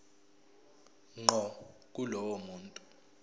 ngqo kulowo muntu